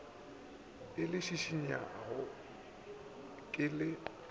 o le šišinyago ke le